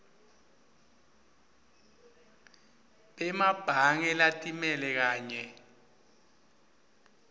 bemabhange latimele kanye